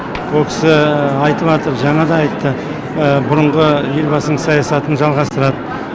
ол кісі айтып атыр жаңада айтты бұрынғы елбасының саясатын жалғастырады